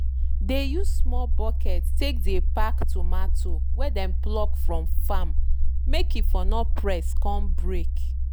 dey use small bucket take dey pack tomato wey dem pluck from farm make e for no press con break.